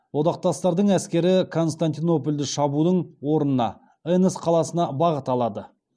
одақтастардың әскері константинопольды шабудың орнына энос қаласына бағыт алады